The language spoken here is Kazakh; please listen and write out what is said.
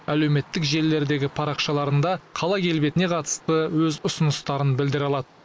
әлеуметтік желілердегі парақшаларында қала келбетіне қатысты өз ұсыныстарын білдіре алады